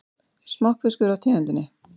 Smokkfiskur af tegundinni